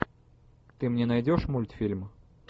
ты мне найдешь мультфильм